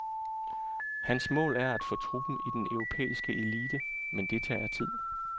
Hans mål er at få truppen i den europæiske elite, men det tager tid.